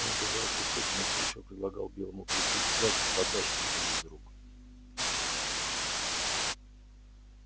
он держал кусок и настойчиво предлагал белому клыку взять подачку у него из рук